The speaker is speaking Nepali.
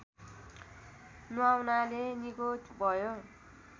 नुहाउनाले निको भयो